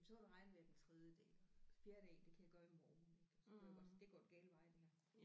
Men så var det regnvejr den tredje dag og fjerde dag det kan jeg gøre i morgen ik og så kunne jeg godt se det går den gale vej det her